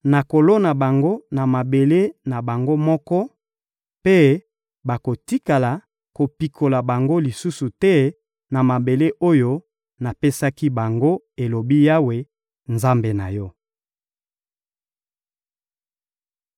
Nakolona bango na mabele na bango moko, mpe bakotikala kopikola bango lisusu te na mabele oyo napesaki bango,» elobi Yawe, Nzambe na yo.